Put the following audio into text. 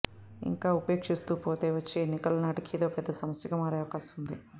ఇంకా ఉపేక్షిస్తూ పోతే వచ్చే ఎన్నికల నాటికి ఇదో పెద్ద సమస్యగా మారే అవకాశం ఉంది